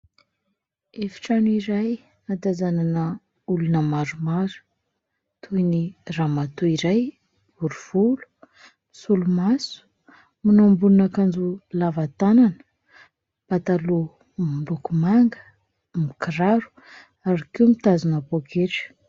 Efitrano iray ahatazanana olona maromaro toy ny ramatoa iray bory volo, misolomaso, manao ambonin'akanjo lava tanana, pataloha miloko manga, mikiraro ary koa mitazona pôketra.